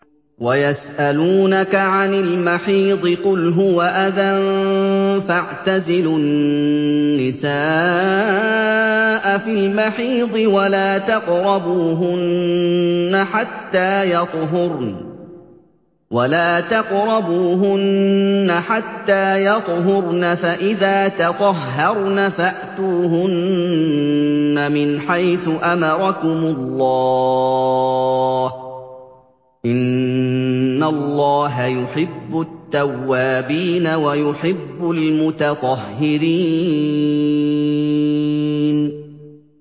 وَيَسْأَلُونَكَ عَنِ الْمَحِيضِ ۖ قُلْ هُوَ أَذًى فَاعْتَزِلُوا النِّسَاءَ فِي الْمَحِيضِ ۖ وَلَا تَقْرَبُوهُنَّ حَتَّىٰ يَطْهُرْنَ ۖ فَإِذَا تَطَهَّرْنَ فَأْتُوهُنَّ مِنْ حَيْثُ أَمَرَكُمُ اللَّهُ ۚ إِنَّ اللَّهَ يُحِبُّ التَّوَّابِينَ وَيُحِبُّ الْمُتَطَهِّرِينَ